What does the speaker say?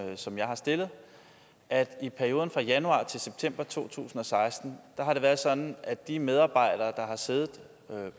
som jeg har stillet at det i perioden fra januar til september to tusind og seksten har været sådan at de medarbejdere der har siddet